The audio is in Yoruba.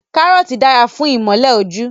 Karoti dara fun imole oju